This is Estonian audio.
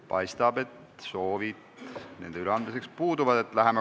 Paistab, et soovid nende üleandmiseks puuduvad.